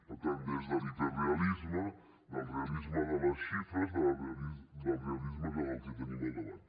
per tant des de l’hiperrealisme del realisme de les xifres del realisme del que tenim al davant